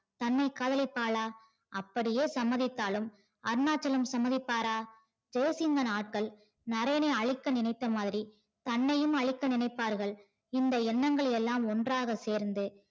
தன்னை காதலிப்பாளா? அப்படியே சம்மதித்தாலும் அருணாச்சலம் சம்மதிப்பாரா? ஜெய்சிங்கன் ஆட்கள் நரேனை அழிக்க நினைத்த மாதிரி தன்னையும் அழித்து நினைப்பார்கள் இந்த எண்ணங்கள் எல்லாம் ஒன்றாக சேர்ந்து